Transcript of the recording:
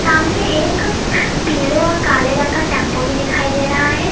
हमने एक पीले और काले रंग का टेंपो भी दिखाई दे रहा है।